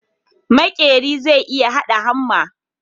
Makeran zai iya hada hamma